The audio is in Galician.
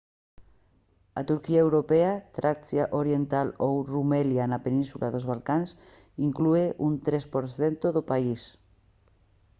a turquía europea tracia oriental ou rumelia na península dos balcáns inclúe un 3 % do país